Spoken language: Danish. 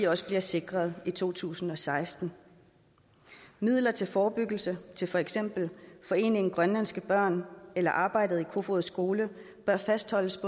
også bliver sikret i to tusind og seksten midler til forebyggelse til for eksempel foreningen grønlandske børn eller arbejdet i kofoeds skole bør fastholdes